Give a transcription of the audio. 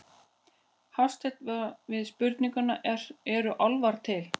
Hafstein við spurningunni Eru álfar til?